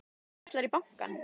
Ætlarðu í bankann?